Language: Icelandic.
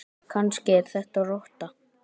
Kannski er þetta rotta?